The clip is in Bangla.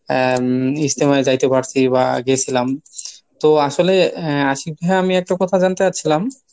আহ ইজতেমায় যাইতে পারছি বা গেছিলাম। তো আসলে আশিক ভাইয়া আমি একটা কথা জানতে চাচ্ছিলাম